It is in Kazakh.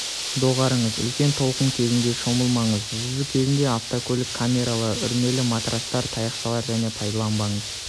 доғарыңыз үлкен толқын кезінде шомылмаңыз жүзу кезінде автокөлік камералары үрмелі матрастар тақтайшалар және пайдаланбаңыз